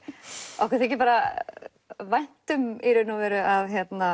okkur þykir bara vænt um að